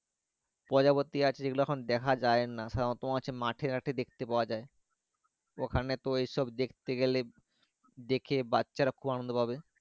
প্রজাপতি আছে ওগুলো এখন দেখা যাই না সাধারণ মাঠে ঘটে দেখতে পাওয়া যাই ওখানে ওই সব দেখতে গালে দেখে বাচ্চা রা খুব আনন্দ পাবে।